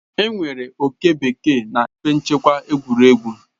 Enwere oke bekee na ebe nchekwa egwuregwu.